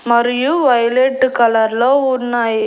మరియు violet colour లో ఉన్నాయి.